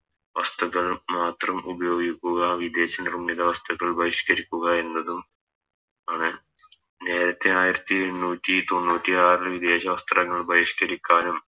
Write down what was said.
വസ്തുക്കൾ മാത്രം ഉപയോഗിക്കുക വിദേശ നിർമ്മിത വസ്തുക്കൾ ബഹിഷ്‌ക്കരിക്കുക എന്നതും ആണ് നേരത്തെ ആയിരത്തി എണ്ണൂറ്റി തൊണ്ണൂറ്റിയാറിൽ വിദേശ വസ്ത്രങ്ങൾ ബഹിഷ്‌ക്കരിക്കാനും